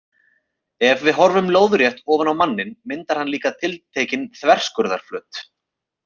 Ef við horfum lóðrétt ofan á manninn myndar hann líka tiltekinn þverskurðarflöt.